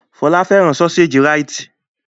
Fọlá fẹ́ràn sọ́séjì Rite.